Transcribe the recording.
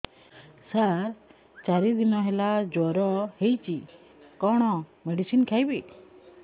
ସାର ଚାରି ଦିନ ହେଲା ଜ୍ଵର ହେଇଚି କଣ ମେଡିସିନ ଖାଇବି